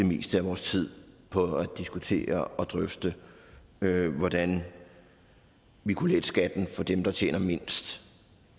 meste af vores tid på at diskutere og drøfte hvordan vi kunne lette skatten for dem der tjener mindst